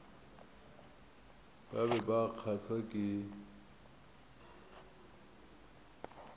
ba be ba kgahlwa ke